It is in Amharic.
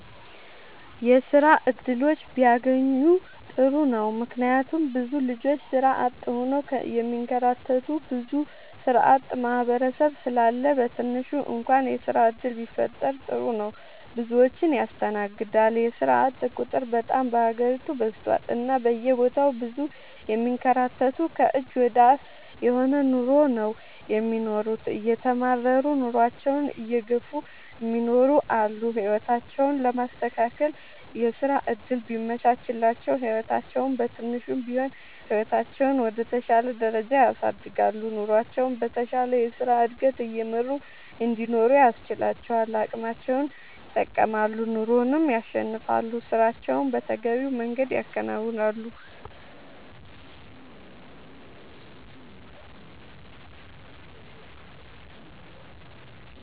የስራ እድሎች ቢያገኙ ጥሩ ነው ምክንያቱም ብዙ ልጆች ስራ አጥ ሆነው የሚንከራተቱ ብዙ ስራአጥ ማህበረሰብ ስላለ በትንሹ እንኳን የስራ ዕድል ቢፈጠር ጥሩ ነው። ብዙዎችን ያስተናግዳል የስራአጥ ቁጥር በጣም በሀገሪቱ በዝቷል እና በየቦታው ብዙ የሚንከራተቱ ከእጅ ወደ አፍ የሆነ ኑሮ ነው የሚኖሩት እየተማረሩ ኑሮአቸውን እየገፍ እሚኖሩ አሉ። ህይወታቸውን ለማስተካከል የስራ ዕድል ቢመቻችላቸው ህይወታቸውን በትንሹም ቢሆን ህይወታቸውን ወደ ተሻለ ደረጃ ያሳድጋሉ። ኑሮቸውን በተሻለ የስራ ዕድገት እየመሩ እንዲኖሩ ያስችላቸዋል አቅማቸውን ይጠቀማሉ ኑሮንም ያሸንፋሉ። ስራቸውን በተገቢው መንገድ ያከናውናሉ።…ተጨማሪ ይመልከቱ